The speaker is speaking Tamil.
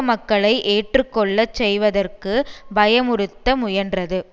மக்களை ஏற்று கொள்ள செய்வதற்கு பயமுறுத்த முயன்றது